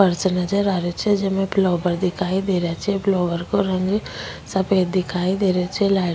फर्श नजर आ रेहो छे जिमे फ्लावर दिखाई दे रा छे फ्लावर को रंग सफ़ेद दिखाई दे रा छे लाइ --